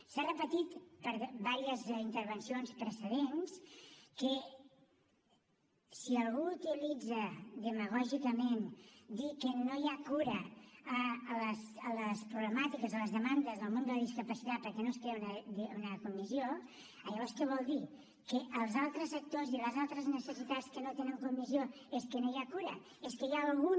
s’ha repetit per diverses intervencions precedents que si algú utilitza demagògicament dir que no hi ha cura de les problemàtiques de les demandes del món de la discapacitat perquè no es crea una comissió llavors què vol dir que dels altres actors i les altres necessitats que no tenen comissió és que no hi ha cura és que hi ha algun